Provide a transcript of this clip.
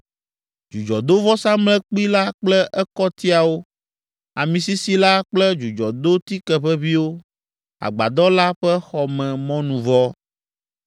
dzudzɔdovɔsamlekpui la kple ekɔtiawo, ami sisi la kple dzudzɔdotikeʋeʋĩwo, agbadɔ la ƒe xɔmemɔnuvɔ,